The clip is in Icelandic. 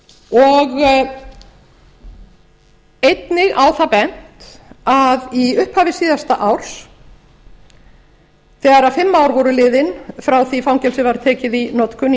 og einnig á það bent að í upphafi síðasta árs þegar fimm ár voru liðin frá því að fangelsið var tekið í notkun